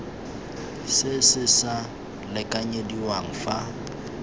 se se sa lekanyediwang fa